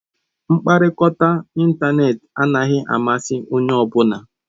Mkpakọrịta n'ịntanetị anaghị amasị onye ọ bụla.